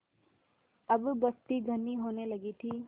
अब बस्ती घनी होने लगी थी